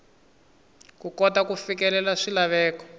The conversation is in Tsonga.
ku kota ku fikelela swilaveko